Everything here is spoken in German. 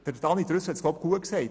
Daniel Trüssel hat es gut gesagt: